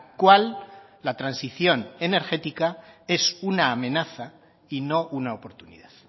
cual la transición energética es una amenaza y no una oportunidad